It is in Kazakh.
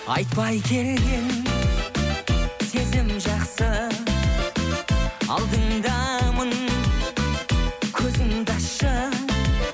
айтпай келген сезім жақсы алдыңдамын көзіңді ашшы